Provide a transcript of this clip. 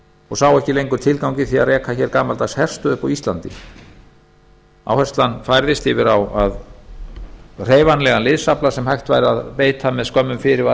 og sáu ekki lengur tilgang í því að reka gamaldagsherstöð upp á íslandi áherslan færðist yfir á hreyfanlegan liðsafla sem hægt væri að beita með skömmum fyrirvara